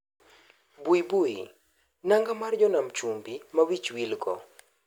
Baibui , nanga mar jo nam chumbi ma wich wilgo